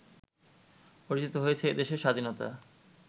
অর্জিত হয়েছে এই দেশের স্বাধীনতা